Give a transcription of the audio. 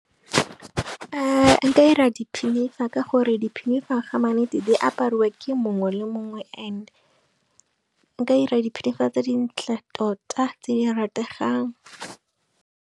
Nka ira di pinifa ka gore di pinifa gama nnete di apariwa ke mongwe le mongwe and nka ira dipinifa tse dintle tota tse di rategang.